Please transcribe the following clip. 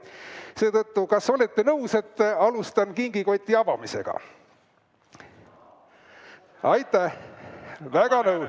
Seetõttu, kas olete nõus, et alustan kingikoti avamisega?